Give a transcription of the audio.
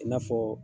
I n'a fɔ